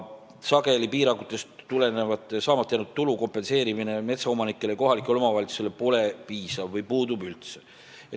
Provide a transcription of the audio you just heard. Sageli pole piirangutest tulenevalt saamata jäänud tulu kompenseerimine metsaomanikele ja kohalikule omavalitsusele piisav või puudub üldse.